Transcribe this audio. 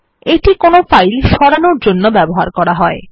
এইটি কোনো ফাইল সরানোর জন্য ব্যবহৃত হয়